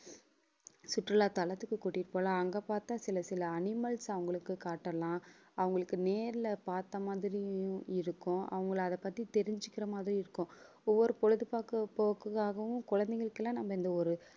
சுற்றுலா தளத்துக்கு கூட்டிட்டு போகலாம். அங்க பார்த்தா சில சில animals அவங்களுக்கு காட்டலாம். அவங்களுக்கு நேர்ல பார்த்த மாதிரியும் இருக்கும். அவங்களை அதைப் பத்தி தெரிஞ்சுக்கிற மாதிரி இருக்கும் ஒவ்வொரு பொழுதுபாக்க~ போக்குக்காகவும் குழந்தைகளுக்கு எல்லாம் நம்ம இந்த ஒரு